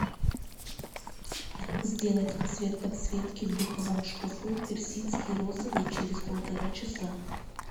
сделать цвет подсветки в духовом шкафу персидский розовый через полтора часа